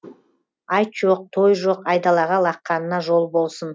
айт жоқ той жоқ айдалаға лаққанына жол болсын